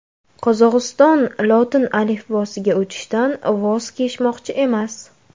Qozog‘iston lotin alifbosiga o‘tishdan voz kechmoqchi emas.